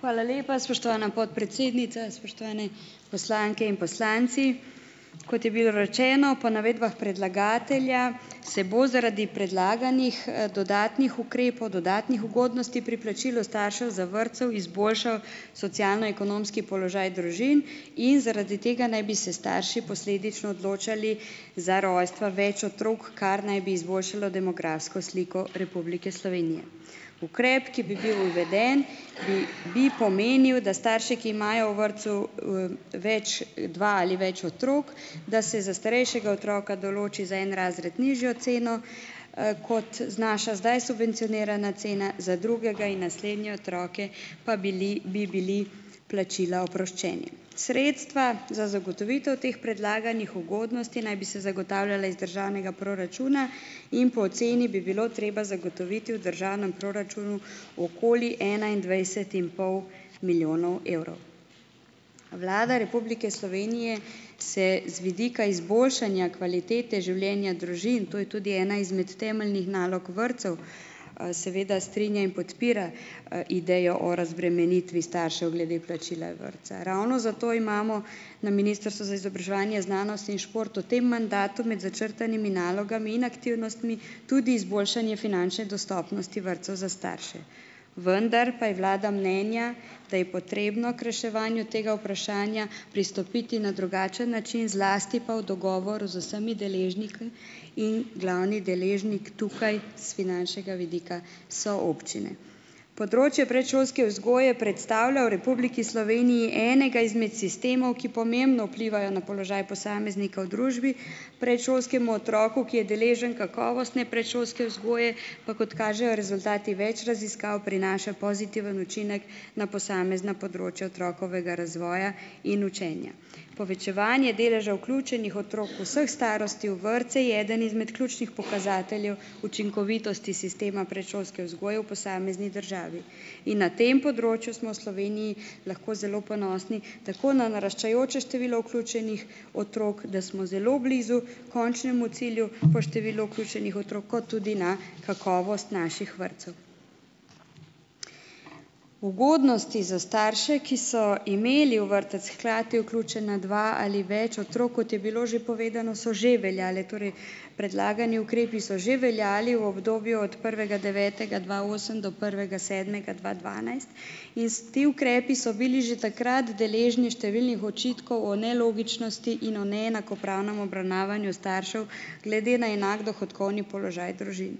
Hvala lepa, spoštovana podpredsednica, spoštovane poslanke in poslanci. Kot je bilo rečeno po navedbah predlagatelja, se bo zaradi predlaganih, dodatnih ukrepov, dodatnih ugodnosti pri plačilu staršev za vrtce izboljšav socialno-ekonomski položaj družin in zaradi tega naj bi se starši posledično odločali za rojstva več otrok, kar naj bi izboljšalo demografsko sliko Republike Slovenije. Ukrep, ki bi bil uveden, bi bi pomenil, da starši, ki imajo v vrtcu, več, dva ali več otrok, da se za starejšega otroka določi za en razred nižjo ceno, kot znaša zdaj subvencionirana cena, za drugega in naslednje otroke pa bili bi bili plačila oproščeni. Sredstva za zagotovitev teh predlaganih ugodnosti naj bi se zagotavljala iz državnega proračuna in po oceni bi bilo treba zagotoviti v državnem proračunu okoli enaindvajset in pol milijonov evrov. Vlada Republike Slovenije se z vidika izboljšanja kvalitete življenja družin, to je tudi ena izmed temeljnih nalog vrtcev, seveda strinja in podpira, idejo o razbremenitvi staršev glede plačila vrtca. Ravno zato imamo na Ministrstvu za izobraževanje, znanost in šport v tem mandatu med začrtanimi nalogami in aktivnostmi tudi izboljšanje finančne dostopnosti vrtcev za starše, vendar pa je vlada mnenja, da je potrebno k reševanju tega vprašanja pristopiti na drugačen način, zlasti pa v dogovoru z vsemi deležniki in glavni deležnik tukaj s finančnega vidika so občine. Področje predšolske vzgoje predstavlja v Republiki Sloveniji enega izmed sistemov, ki pomembno vplivajo na položaj posameznika v družbi. Predšolskemu otroku, ki je deležen kakovostne predšolske vzgoje, pa kot kažejo rezultati več raziskav, prinaša pozitiven učinek na posamezna področja otrokovega razvoja in učenja. Povečevanje deleža vključenih otrok vseh starosti v vrtce, je eden izmed ključnih pokazateljev učinkovitosti sistema predšolske vzgoje v posamezni državi. In na tem področju smo v Sloveniji lahko zelo ponosni, tako na naraščajoče število vključenih otrok, da smo zelo blizu končnemu cilju po številu vključenih otrok kot tudi na kakovost naših vrtcev. Ugodnosti za starše, ki so imeli v vrtec hkrati vključena dva ali več otrok, kot je bilo že povedano, so že veljale, torej predlagani ukrepi so že veljali v obdobju od prvega devetega dva osem do prvega sedmega dva dvanajst iz ti ukrepi so bili že takrat deležni številnih očitkov o nelogičnosti in o neenakopravnem obravnavanju staršev glede na enak dohodkovni položaj družin.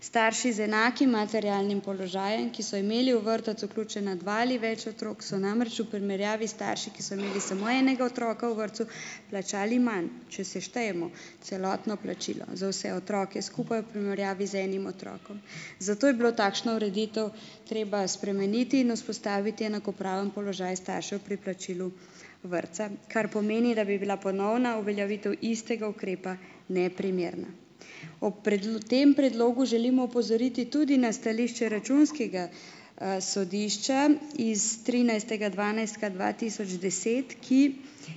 Starši z enakim materialnim položajem, ki so imeli v vrtec vključena dva ali več otrok, so namreč v primerjavi s starši, ki so imeli samo enega otroka v vrtcu, plačali manj, če seštejemo celotno plačilo za vse otroke skupaj v primerjavi z enim otrokom. Zato je bilo takšno ureditev treba spremeniti in vzpostaviti enakopraven položaj staršev pri plačilu vrtca, kar pomeni, da bi bila ponovna uveljavitev istega ukrepa neprimerna. Ob tem predlogu želimo opozoriti tudi na stališče računskega, sodišča iz trinajstega dvanajstega dva tisoč deset, ki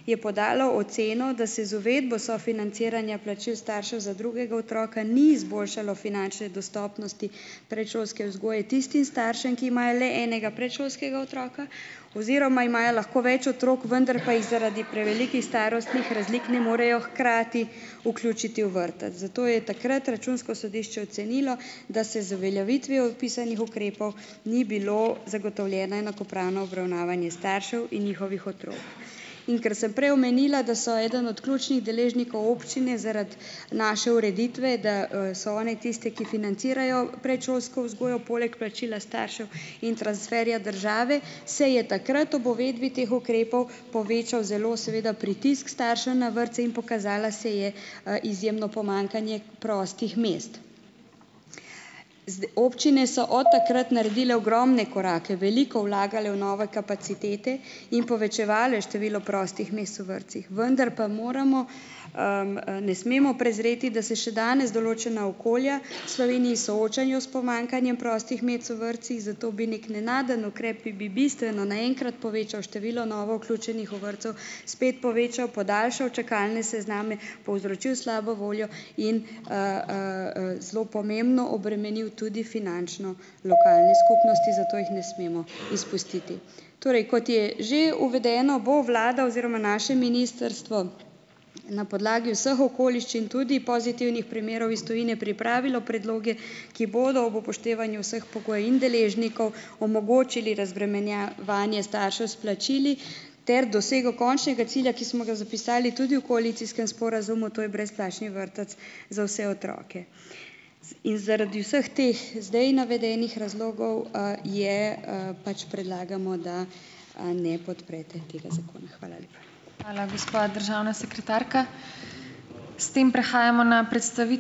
je podalo oceno, da se z uvedbo sofinanciranja plačil staršev za drugega otroka ni izboljšalo finančne dostopnosti predšolske vzgoje tistim staršem, ki imajo le enega predšolskega otroka oziroma imajo lahko več otrok, vendar pa jih zaradi prevelikih starostnih razlik ne morejo hkrati vključiti v vrtec, zato je takrat računsko sodišče ocenilo, da se z uveljavitvijo vpisanih ukrepov ni bilo zagotovljeno enakopravno obravnavanje staršev in njihovih In ker sem prej omenila, da so eden od ključnih deležnikov občine zaradi naše ureditve, da, so one tiste, ki financirajo predšolsko vzgojo poleg plačila staršev in transferja države, se je takrat ob uvedbi teh ukrepov povečal, zelo seveda, pritisk staršev na vrtce in pokazalo se je, izjemno pomanjkanje prostih mest. Občine so od takrat naredile ogromne korake, veliko vlagale v nove kapacitete in povečevale število prostih mest v vrtcih, vendar pa moramo, ne smemo prezreti, da se še danes določena okolja v Sloveniji soočajo s pomanjkanjem prostih mest v vrtcih, zato bi nekje nenaden ukrep, ki bi bistveno na enkrat povečal število novo vključenih v vrtcu spet povečal, podaljšal čakalne sezname, povzročil slabo voljo in, zelo pomembno obremenil tudi finančno lokalne skupnosti, zato jih ne smemo izpustiti. Torej kot je že uvedeno, bo vlada oziroma naše ministrstvo na podlagi vseh okoliščin, tudi pozitivnih primerov iz tujine, pripravilo predloge, ki bodo ob upoštevanju vseh pogojev in deležnikov omogočili razbremenjevanje staršev s plačili ter dosego končnega cilja, ki smo ga zapisali tudi v koalicijskem sporazumu, to je brezplačni vrtec za vse otroke. In zaradi vseh teh zdaj navedenih razlogov, je, pač predlagamo, da, ne podprete tega zakona. Hvala